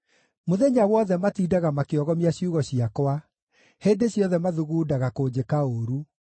Mũthenya wothe matindaga makĩogomia ciugo ciakwa; hĩndĩ ciothe mathugundaga kũnjĩka ũũru.